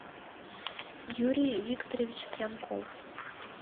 юрий викторович пьянков